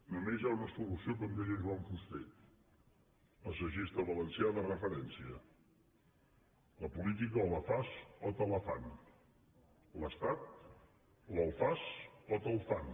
només hi ha una solució com deia joan fuster assagista valencià de referència la política o la fas o te la fan l’estat o el fas o te’l fan